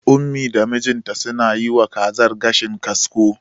Ummi da mijinta suna yiwa kazar gashin kasko.